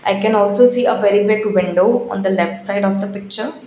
i can also see a very big window on the left side of the picture.